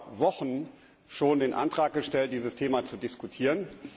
Wir haben vor Wochen schon den Antrag gestellt, dieses Thema zu diskutieren.